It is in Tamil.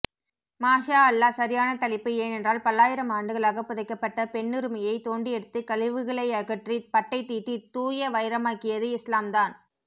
மாஷா அல்லாஹ் சரியான தலைப்பு ஏனென்றால் பல்லாயிரம் ஆண்டுகளாக புதைக்கப்பட்ட பெண்ணுரிமையை தோண்டியெடுத்து கழிவுகளையகற்றி பட்டைதீட்டி தூயவைரமாக்கியது இஸ்லாம்தான்